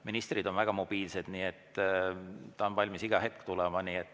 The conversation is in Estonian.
Ministrid on väga mobiilsed, nii et ta on valmis iga hetk kohale tulema.